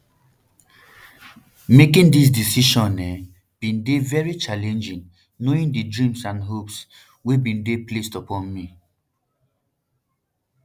making dis decision um bin dey very challenging knowing di dreams and hopes um wey bin dey placed upon me